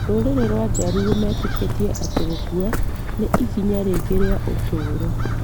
Rũrĩrĩ rwa Jaruo metĩkĩtie atĩ gũkua nĩ ikinya rĩngĩ rĩa ũtũũro,